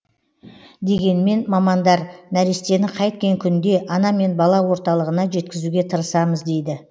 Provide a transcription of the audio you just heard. дегенмен мамандар нәрестені қайткен күнде ана мен бала орталығына жеткізуге тырысамыз дейді